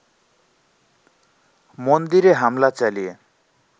মন্দিরে হামলা চালিয়ে